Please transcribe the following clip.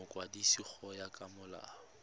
mokwadisi go ya ka molao